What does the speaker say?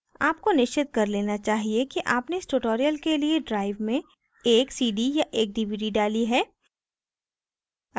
आपको निश्चित कर लेना चाहिए कि आपने इस tutorial के लिए drive में एक cd या एक dvd डाली है